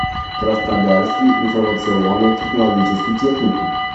краснодарский информационно технологический техникум